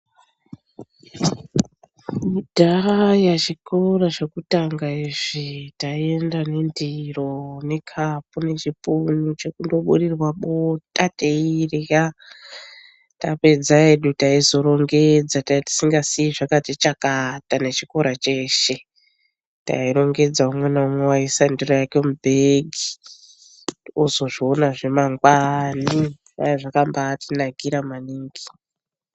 Kudhaya zvikora zvokutanga izvi taienda nendiro nekapu nechipumu chekundoburirwa bota teirya yapedza hedu taizorongedza tanga tisingasii zvakati chakata nechikora cheshe tairongedza umwe naumwe waiisa ndiro yake mubhegi ozozvionazve mangwana zvanga zvakatinakira maningi.